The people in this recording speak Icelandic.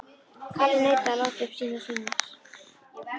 Kalli neitaði að láta uppi sínar sýnir.